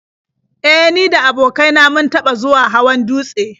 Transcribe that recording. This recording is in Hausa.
E, ni da abokain na mun taɓa zuwa hawan dutse.